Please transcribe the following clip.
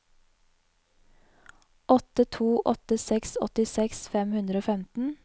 åtte to åtte seks åttiseks fem hundre og femten